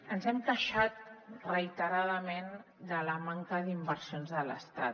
ens hem queixat reiteradament de la manca d’inversions de l’estat